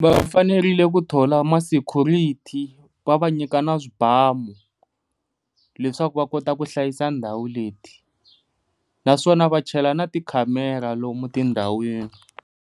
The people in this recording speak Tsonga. Va fanerile ku thlula ma security va va nyika na swibamu leswaku va kota ku hlayisa ndhawu leti, naswona va chela na ti camera ra lomu tindhawini.